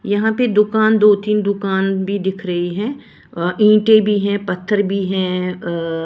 यहां पे दुकान दो-तीन दुकान भी दिख रही है ईंटें भी हैं पत्थर भी हैं अ --